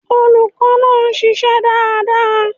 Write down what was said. Olùkó náà nsisé dáadáa